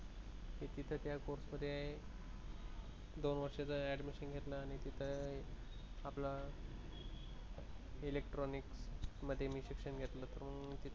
तिथे त्या कोर्समधे, दोन वर्षाचं admission घेतलं आणि तिथे आपला मी तिथे इलेक्ट्रॉनिक मध्ये शिक्षण घेतलं